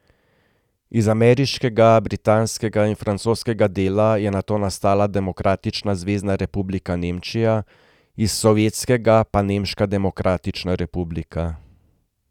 Iz ameriškega, britanskega in francoskega dela je nato nastala demokratična Zvezna republika Nemčija, iz sovjetskega pa Nemška demokratična republika.